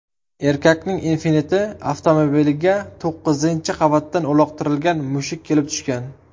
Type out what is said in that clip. Erkakning Infiniti avtomobiliga to‘qqizinchi qavatdan uloqtirilgan mushuk kelib tushgan.